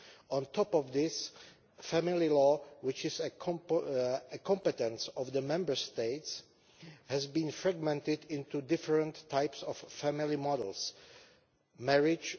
On top of this, family law, which is a competence of the Member States, has been fragmented into different types of family models marriage